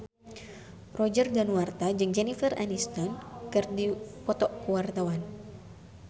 Roger Danuarta jeung Jennifer Aniston keur dipoto ku wartawan